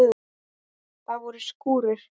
Það voru skúrir.